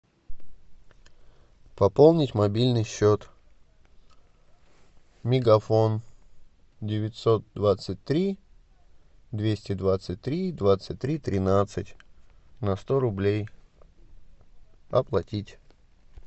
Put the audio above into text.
пополнить мобильный счет мегафон девятьсот двадцать три двести двадцать три двадцать три тринадцать на сто рублей оплатить